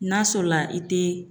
N'a sɔrɔla i tɛ